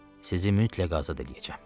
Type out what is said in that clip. Sizi mütləq azad eləyəcəm.